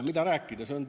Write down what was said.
Mida rääkida?